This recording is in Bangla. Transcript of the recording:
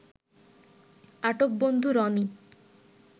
আটক বন্ধু রনি